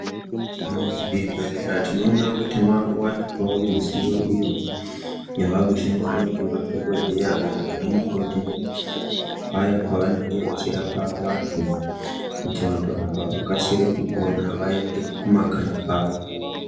Muzvibhehlera tinoona kuti makuwanikwawo midziyo iyo yavakushandiswa ngemadhokodheya kana vanamukoti paya pavenge vachirapa vantu kuti vanhu ava vakasire kupora vaende kumakanyi kwavo.